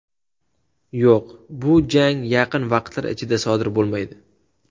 Yo‘q, bu jang yaqin vaqtlar ichida sodir bo‘lmaydi.